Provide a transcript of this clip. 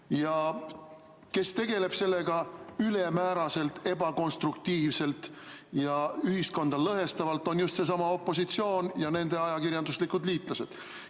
Ja see, kes tegeleb sellega ülemääraselt, ebakonstruktiivselt ja ühiskonda lõhestavalt, on just seesama opositsioon ja nende ajakirjanduslikud liitlased.